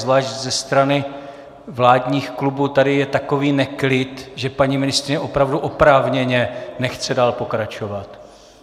Zvlášť ze strany vládních klubů je tady takový neklid, že paní ministryně opravdu oprávněně nechce dál pokračovat.